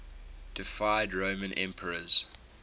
deified roman emperors